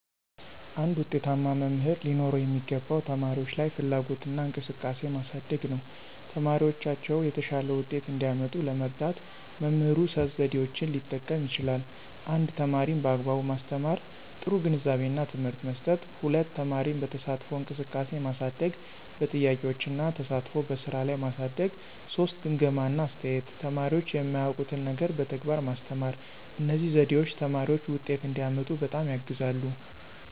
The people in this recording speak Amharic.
አንድ ዉጤታማ መምህር ሊኖረው የሚገባው ተማሪዎች ላይ ፍላጎትና እንቅስቃሴ ማሳደግ ነው። ተማሪዎቻቸው የተሻለ ውጤት እንዲያመጡ ለመርዳት መምህሩ ሶስት ዘዴዎችን ሊጠቀም ይችላል 1) ተማሪን በአግባቡ ማስተማር – ጥሩ ግንዛቤና ትምህርት መስጠት፣ 2) ተማሪን በተሳትፎ እንቅስቃሴ ማሳደግ – በጥያቄዎች እና ተሳትፎ በስራ ላይ ማሳደግ፣ 3) ግምገማ እና አስተያየት – ተማሪዎች የማያውቁትን ነገር በተግባር ማስተማር። እነዚህ ዘዴዎች ተማሪዎች ውጤት እንዲያመጡ በጣም ያግዛሉ።